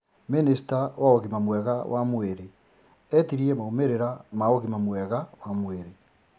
Mĩnĩsta wa ũgima mwega wa mwĩrĩ etirie maumĩrĩra ma ũgima mwega wa mwĩrĩ